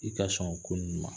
I ka sɔn o ko ninnu ma.